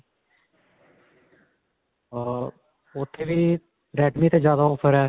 ਅਅ ਉੱਥੇ ਵੀ redme ਤੇ ਜਿਆਦਾ offer ਹੈ.